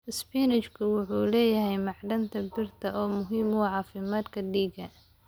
Isbaanishku wuxuu leeyahay macdanta birta oo muhiim u ah caafimaadka dhiigga.